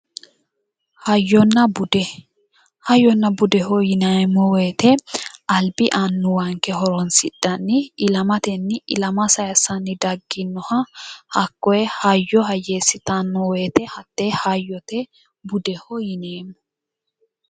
hayyonna bude hayyonna budeho yineemmo wote albi horonsidhanni ilamatenni ilama sayiissanni dagginnoha hakkoye hayyo hayyeessitanno wote hattee hayyote budeho yineemmo.